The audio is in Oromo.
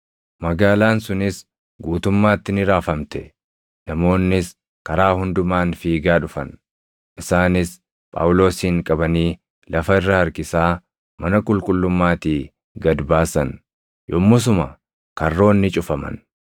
Magaalaan sunis guutummaatti ni raafamte; namoonnis karaa hundumaan fiigaa dhufan. Isaanis Phaawulosin qabanii lafa irra harkisaa mana qulqullummaatii gad baasan; yommusuma karroonni cufaman.